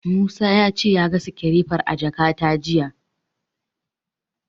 Musa ya ce ya ga sikirefar a jakata jiya.